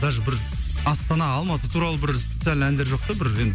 даже бір астана алматы туралы бір специально әндер жоқ та бір енді